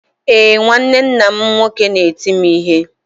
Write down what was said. Ee, nwanne nna m nwoke na-eti m ihe.